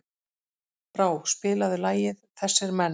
Brá, spilaðu lagið „Þessir Menn“.